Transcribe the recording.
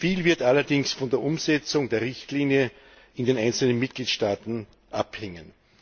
Viel wird allerdings von der Umsetzung der Richtlinie in den einzelnen Mitgliedstaaten abhängen.